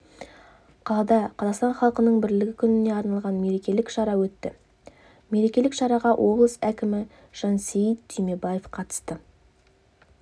қалада қазақстан халқының бірлігі күніне арналған мерекелік шара өтті мерекелік шараға облыс әкімі жансейіт түймебаев қатысты